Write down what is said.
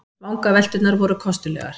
Vangavelturnar voru kostulegar.